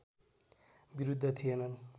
विरुद्ध थिएनन्